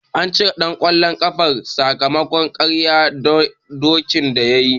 An cire ɗan ƙwallon ƙafan sakamakon karye dokan da yayi.